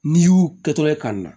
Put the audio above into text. N'i y'u kɛtogo ye ka na